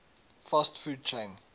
fast food chain